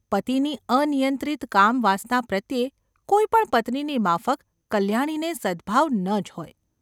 પતિની અનિયંત્રિત કામ વાસના પ્રત્યે કોઈપણ પત્નીની માફક કલ્યાણીને સદ્‌ભાવ ન જ હોય.